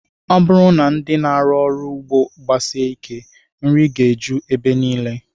Ọ bụrụ na ndị na-arụ ọrụ ugbo gbasie ike, nri ga-eju ebe niile